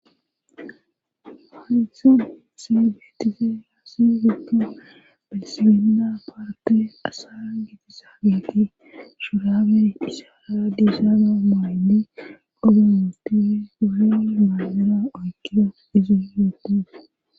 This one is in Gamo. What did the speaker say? wanitho segeetise haassifiko belisibenda paatale asa gieti saabeti shuraber isaara diisaaba maylle progamti guhe maazera oykira izu yudos